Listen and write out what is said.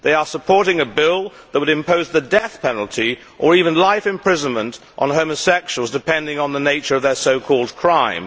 They are supporting a bill that would impose the death penalty, or life imprisonment, on homosexuals, depending on the nature of their so called crime.